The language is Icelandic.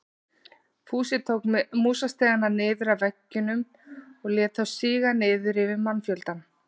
Fúsi tók músastigana niður af veggjunum og lét þá síga niður yfir mannfjöldann.